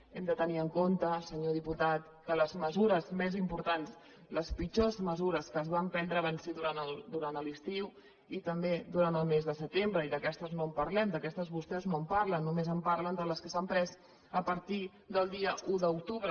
hem de tenir en compte senyor diputat que les mesures més importants les pitjors mesures que es van prendre ho van ser durant l’estiu i també durant el mes de setembre i d’aquestes no en parlem d’aquestes vostès no en parlen només parlen de les que s’han pres a partir del dia un d’octubre